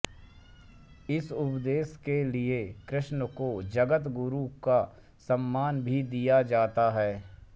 इस उपदेश के लिए कृष्ण को जगतगुरु का सम्मान भी दिया जाता है